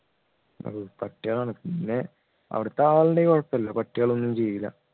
ഓ പട്ടികളാണ് പിന്നെ അവിടുത്തെ ആളുണ്ടെങ്കിൽ കുഴപ്പമില്ല പട്ടികൾ ഒന്നും ചെയ്യില്ല